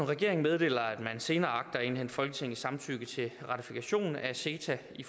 regeringen meddeler at man senere agter at indhente folketingets samtykke til ratifikation af ceta i